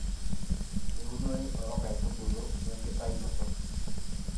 eunore oonkaitubulu we nkitainoto